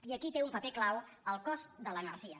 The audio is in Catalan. i aquí hi té un paper clau el cost de l’energia